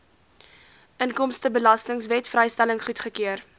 inkomstebelastingwet vrystelling goedgekeur